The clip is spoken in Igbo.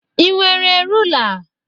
Ị nwere rula?